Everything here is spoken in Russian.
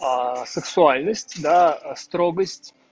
сэксуальность до строгость